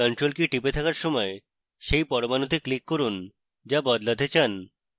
ctrl key টিপে থাকার সময় key পরমাণুতে click করুন যা বদলাতে চান